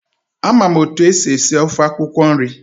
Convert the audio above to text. Ama m otu esi esi ofe akwụkwọ nri.